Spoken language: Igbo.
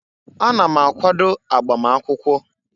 Ana m akwado agbam akwụkwọ.